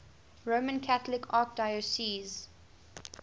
roman catholic archdiocese